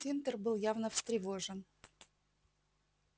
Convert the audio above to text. тинтер был явно встревожен